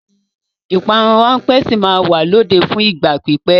Ìpanu ráńpẹ́ sì máa wà lóde fún ìgbà pípẹ́.